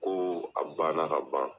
Ko a ban na ka ban.